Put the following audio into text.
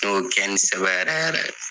Ne y'o kɛ ni sɛ bɛ yɛrɛ yɛrɛ.